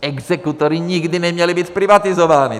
Exekutoři nikdy neměli být zprivatizováni!